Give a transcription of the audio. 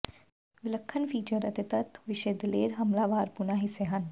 ਵਿਲੱਖਣ ਫੀਚਰ ਅਤੇ ਤੱਤ ਵਿਸ਼ੇ ਦਲੇਰ ਹਮਲਾਵਰਪੁਣਾ ਹਿੱਸੇ ਹਨ